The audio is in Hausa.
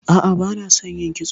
A'a, bana son yin kitso.